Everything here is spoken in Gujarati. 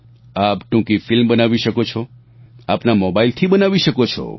આપ ટૂંકી ફિલ્મ બનાવી શકો છો આપના મોબાઈલથી બનાવી શકો છો